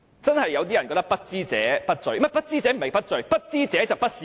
真的有些人覺得"不知者不罪"，說得確切些是"不知者就不是說謊"。